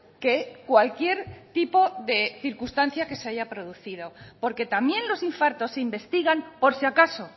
que cualquier tipo de circunstancia que se haya producido porque también los infartos se investigan por si acaso